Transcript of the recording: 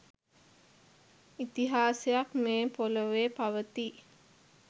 ඉතිහාසයක් මේ පොලොවේ පවතී